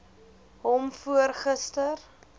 hom voor gister